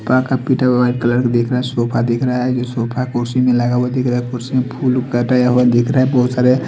कान का पीटर white colour का दिखा रहा है कुड़सी भी लगा हुआ दिख रहा है कुड़सी पर फूल सजाया हुआ दिख रहा है।